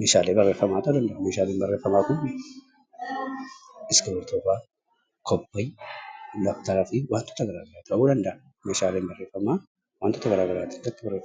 meeshaalee barreeffamaa yoo ta'an, meeshaaleen barreeffamaa kun iskiriiptoo fa'a, kobbee, dabtaraa fi waantota garaa garaa ta'uu danda'a. Meeshaaleen barreeffamaa wantoota gara garaa irratti barreeffamu.